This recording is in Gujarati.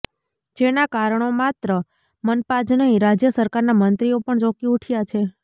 જેના કારણો માત્ર મનપા જ નહીં રાજય સરકારના મંત્રીઓ પણ ચોકી ઉઠયા છે